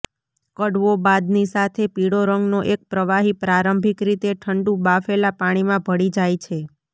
કડવો બાદની સાથે પીળો રંગનો એક પ્રવાહી પ્રારંભિક રીતે ઠંડુ બાફેલા પાણીમાં ભળી જાય છે